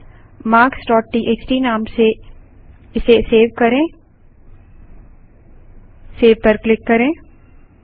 फाइलmarkstxt नाम से इसे सेव करेंसेव पर क्लिक करें